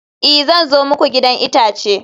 i, zan zo muku gidan itace